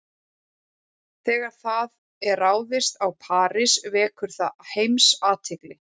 Þegar það er ráðist á París vekur það heimsathygli.